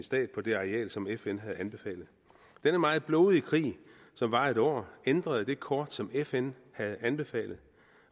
stat på det areal som fn havde anbefalet denne meget blodige krig som varede et år ændrede det kort som fn havde anbefalet